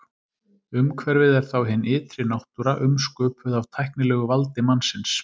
Umhverfið er þá hin ytri náttúra umsköpuð af tæknilegu valdi mannsins.